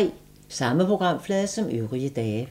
Samme programflade som øvrige dage